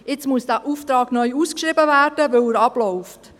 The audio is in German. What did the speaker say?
Jetzt muss der Auftrag neu ausgeschrieben werden, weil er ausläuft.